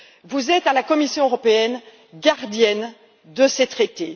Vous êtes, à la Commission européenne, gardienne de ces traités.